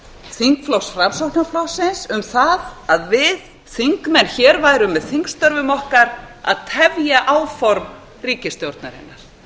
þingflokks framsóknarflokksins um það að við þingmenn hér værum með þingstörfum okkar að tefja áform ríkisstjórnarinnar